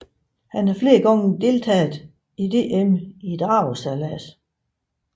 Han har flere gange deltaget i DM i dragesejlads